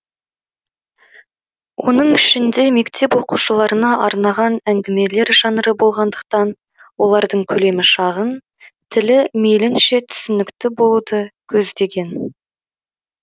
оның ішінде мектеп оқушыларына арнаған әңгімелер жанры болғандықтан олардың көлемі шағын тілі мейлінше түсінікті болуды көздеген